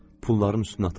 Pulların üstünə atıldım.